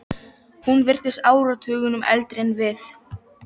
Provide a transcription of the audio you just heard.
Hún virtist áratugunum eldri en við.